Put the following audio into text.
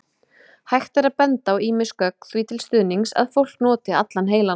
Hægt er að benda á ýmis gögn því til stuðnings að fólk noti allan heilann.